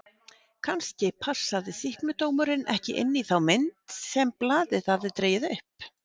Kannski passaði sýknudómurinn ekki inn í þá mynd sem blaðið hafði dregið upp?